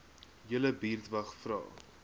julle buurtwag vra